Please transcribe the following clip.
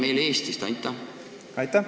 Aitäh!